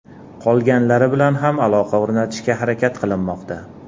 Qolganlari bilan ham aloqa o‘rnatishga harakat qilinmoqda.